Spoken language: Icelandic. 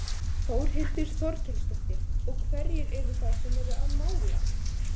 Þórhildur Þorkelsdóttir: Og hverjir eru það sem eru að mála?